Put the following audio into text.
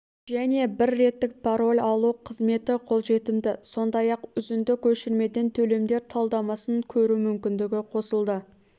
және бір реттік пароль алу қызметі қолжетімді сондай-ақ үзінді көшірмеден төлемдер талдамасын көру мүмкіндігі қосылды